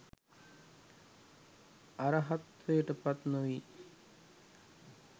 අරහත්වයට පත්නොවී